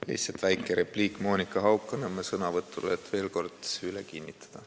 Lihtsalt väike repliik Monika Haukanõmme sõnavõtule, et veel kord üle kinnitada.